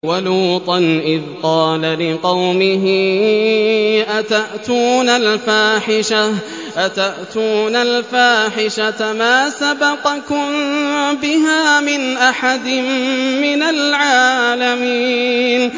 وَلُوطًا إِذْ قَالَ لِقَوْمِهِ أَتَأْتُونَ الْفَاحِشَةَ مَا سَبَقَكُم بِهَا مِنْ أَحَدٍ مِّنَ الْعَالَمِينَ